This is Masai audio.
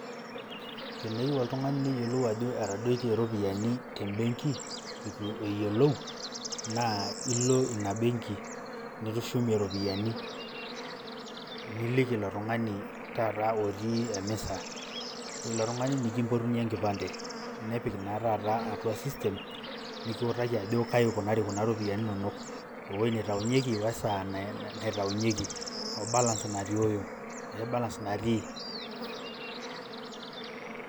teneyieu oltungani neyiolou ajo etadoitie iropiyiani eitu eyiolou, naa ilo ina benki nitushumie iropiyiani. niliki ilo tungani taata otii emisa. ore ilo tungani nikimpotunye enkipande, nepik naa taata atua system nikiutaki ajoki kaji ikunari kuna ropiyiani inonok. ewuei neitainyieki we saa naitaunyieki, obalas natiooyo ashu balas natii.